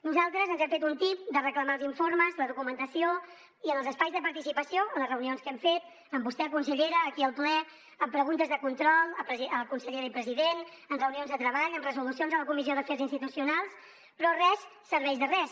nosaltres ens hem fet un tip de reclamar els informes la documentació i en els espais de participació a les reunions que hem fet amb vostè consellera aquí al ple en preguntes de control a consellera i president en reunions de treball en resolucions a la comissió d’afers institucionals però res serveix de res